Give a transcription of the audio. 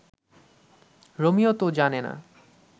Romeo তো জানে না